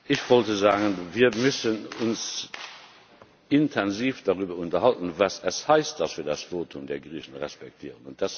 Ich wollte sagen Wir müssen uns intensiv darüber unterhalten, was es heißt, dass wir das Votum der Griechen respektieren.